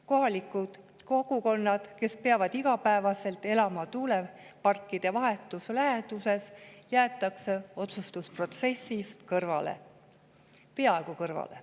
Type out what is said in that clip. Kohalikud kogukonnad, kes peavad igapäevaselt elama tuuleparkide vahetus läheduses, jäetakse otsustusprotsessist kõrvale, peaaegu kõrvale.